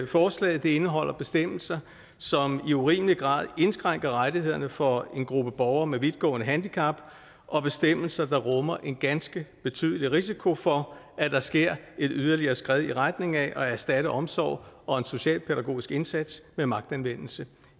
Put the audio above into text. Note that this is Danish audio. forslaget indeholder bestemmelser som i urimelig grad indskrænker rettighederne for en gruppe borgere med vidtgående handicap og bestemmelser der rummer en ganske betydelig risiko for at der sker et yderligere skred i retning af at erstatte omsorg og en socialpædagogisk indsats med magtanvendelse